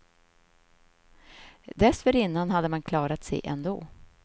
Dessförinnan hade man klarat sig ändå.